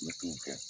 N bɛ t'o kɛ